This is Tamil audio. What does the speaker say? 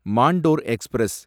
மாண்டோர் எக்ஸ்பிரஸ்